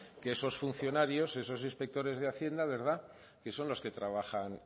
que esos funcionarios estos inspectores de hacienda que son los que trabajan